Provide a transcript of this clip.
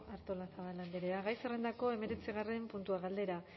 artolazabal andrea gai zerrendako hemeretzigarren puntua galdera